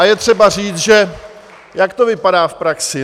A je třeba říct, že - jak to vypadá v praxi?